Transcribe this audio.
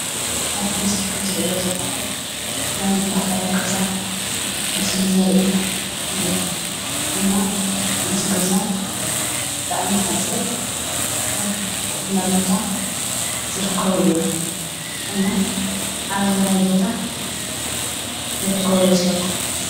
ኣብ እቲ ምስሊ ከም እትሪእዎ ዘለኩም ናይ ባህላዊ ገዛ ምስሊ ዘርኢ እዩ፡፡ እና እዚ ገዛ ብጣዕሚ ሓፂር ኣብ ቆላ ቦታ ዝርከቡ እዮም፡፡ እና ኣበየናይ ቦታ ዝርከብ ይመስለኩም?